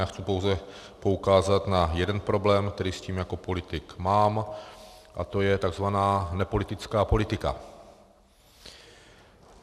Já chci pouze poukázat na jeden problém, který s tím jako politik mám, a to je tzv. nepolitická politika.